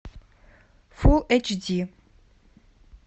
фул эч ди